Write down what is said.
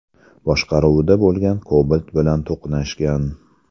boshqaruvida bo‘lgan Cobalt bilan to‘qnashgan.